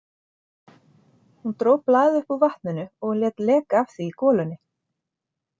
Hún dró blaðið upp úr vatninu og lét leka af því í golunni.